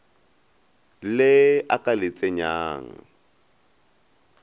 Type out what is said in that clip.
le a ka le tsenyang